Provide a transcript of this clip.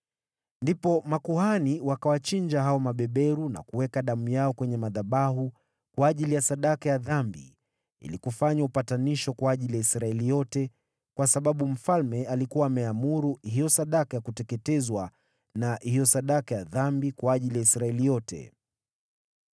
Ndipo makuhani wakawachinja hao mabeberu na kuweka damu yao kwenye madhabahu kwa ajili ya sadaka ya dhambi ili kufanya upatanisho kwa ajili ya Israeli yote, kwa sababu mfalme alikuwa ameamuru hiyo sadaka ya kuteketezwa na hiyo sadaka ya dhambi kwa ajili ya Israeli yote.